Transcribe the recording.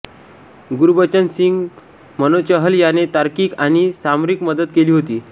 गुरबचन सिंग मनोचाहल याने तार्किक आणि सामरिक मदत केली होती